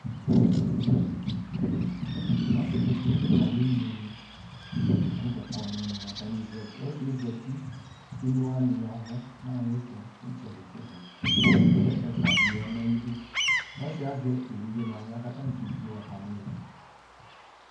Ɔse de no ayenlo ne lantɛ kɔ nɛmɛ atane zati, ɔsiɛ zati ko emlo wane yavu no ayeto itsɛde tsɛde ko ɛfua be ya no ayeduƆsiɛ azɛ evidze no ahla ko atane kedzi watermelon